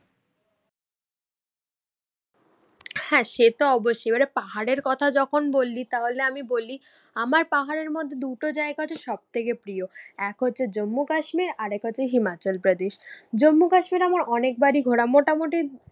হ্যাঁ সে তো অবশ্যই, এবার পাহাড়ের কথা যখন বললি তাহলে আমি বলি, আমার পাহাড়ের মধ্যে দুটো জায়গা হচ্ছে সব থেকে প্রিয়। এক হচ্ছে জম্মু কাশ্মীর আরেক হচ্ছে হিমাচল প্রদেশ। জম্মু কাশ্মীর আমার অনেকবারই ঘোরা। মোটামুটি